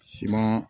Siman